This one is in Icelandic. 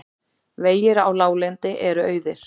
Vegir á láglendi eru auðir